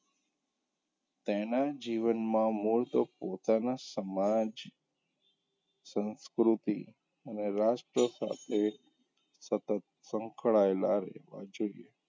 તેનાં જીવનમાં મૂળ તો પોતાનાં સમાજ સંસ્કૃતિ અને રાષ્ટ્ર સાથે સતત સંકળાયેલાં રહેવાં જોઈએ.